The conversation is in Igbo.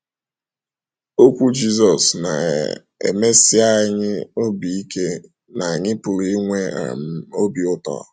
Okwu Jizọs na - um emesi anyị obi ike na anyị pụrụ inwe um obi ụtọ.